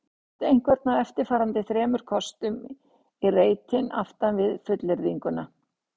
Settu einhvern af eftirfarandi þremur kostum í reitinn aftan við fullyrðinguna